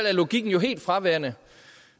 er logikken jo helt fraværende